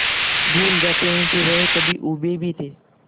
भूल जाते हैं कि वह कभी ऊबे भी थे